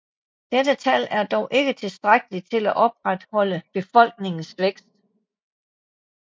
Dette tal er dog ikke tilstrækkelig til at opretholde befolkningens vækst